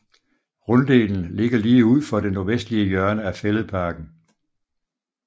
Runddelen ligger lige ud for det nordvestlige hjørne af Fælledparken